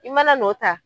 I mana n'o ta